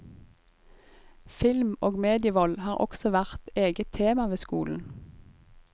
Film og medievold har også vært eget tema ved skolen.